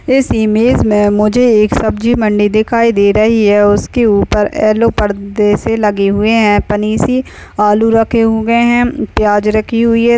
इस इमेज मे मुझे एक सब्जी मंडी दिखाई दे रही है और उसकी ऊपर येल्लो पर्दे से लगे हुए है। आलू रखे हुए है प्याज रखी हुई है।